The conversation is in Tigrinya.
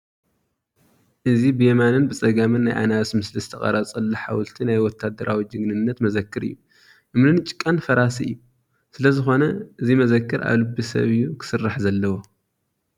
እዚ ብየማንን ፀጋምን ናይ ኣናብስ ምስሊ ዝተቐረፀሉ ሓወልቲ ናይ ወታደራዊ ጀግንነት መዘክር እዩ፡፡ እምንን ጭቃን ፈራሲ እዩ፡፡ ስለዝኾነ እዚ መዘክር ኣብ ልቢ ሰብ እዩ ክስራሕ ዘለዎ፡፡